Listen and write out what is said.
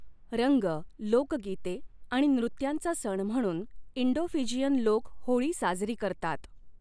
रंग, लोकगीते आणि नृत्यांचा सण म्हणून इंडो फिजियन लोक होळी साजरी करतात.